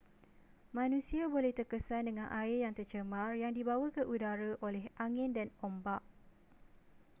manusia boleh terkesan dengan air yang tercemar yang dibawa ke udara oleh angin dan ombak